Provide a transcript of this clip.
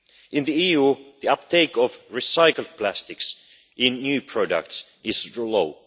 In the EU, the uptake of recycled plastics in new products is low